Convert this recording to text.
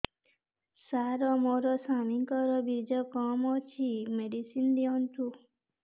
ସାର ମୋର ସ୍ୱାମୀଙ୍କର ବୀର୍ଯ୍ୟ କମ ଅଛି ମେଡିସିନ ଦିଅନ୍ତୁ